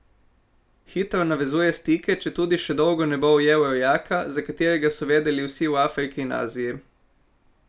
Hitro navezuje stike, četudi še dolgo ne bo ujel rojaka, za katerega so vedeli vsi v Afriki in Aziji.